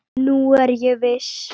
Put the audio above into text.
Nú er ég viss!